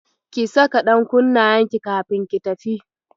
Ki saka ɗankunnayenki kafin ki tafi.